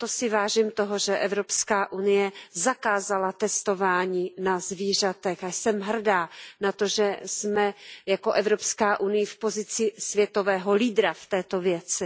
Proto si vážím toho, že Evropská unie zakázala testování na zvířatech, a jsem hrdá na to, že jsme jako Evropská unie v pozici světového lídra v této věci.